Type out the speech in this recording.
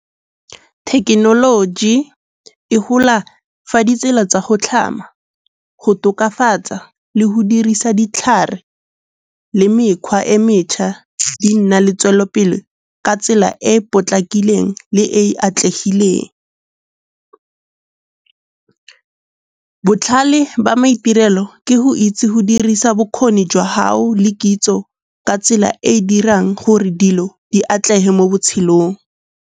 Thekenoloji e gola fa ditsela tsa go tlhama, go tokafatsa le go dirisa ditlhare le mekgwa e metšhwa di nna le tswelelopele ka tsela e potlakileng le e e atlegileng. Botlhale ba maitirelo ke go itse go dirisa bokgoni jwa gago le kitso ka tsela e e dirang gore dilo di atlege mo botshelong.